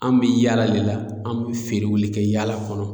An bɛ yaala de la an bɛ feerew kɛ yaala kɔnɔ